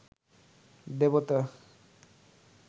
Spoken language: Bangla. দেবতা